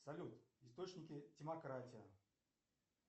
салют источники демократия